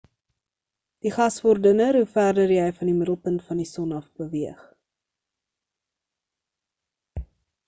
die gas word dunner hoe verder jy van die middelpunt van die son af beweeg